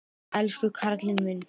Elsku karlinn minn.